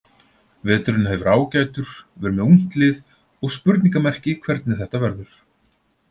Veturinn hefur verið ágætur, við erum með ungt lið og spurningamerki hvernig þetta verður.